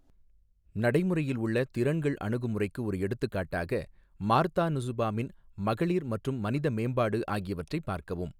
நடைமுறையில் உள்ள 'திறன்கள் அணுகுமுறைக்கு' ஒரு எடுத்துக்காட்டாக, மார்த்தா நுசுபாமின் மகளிர் மற்றும் மனித மேம்பாடு ஆகியவற்றைப் பார்க்கவும்.